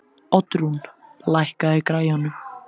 Oddrún, lækkaðu í græjunum.